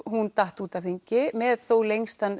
hún datt út af þingi með þó lengstan